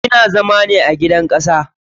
Ina zama ne a gidan kasa.